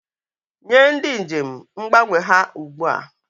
Nye ndị njem mgbanwe ha ugbu a!